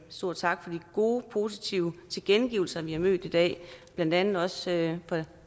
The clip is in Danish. stor tak for de gode og positive tilkendegivelser vi har mødt i dag blandt andet også fra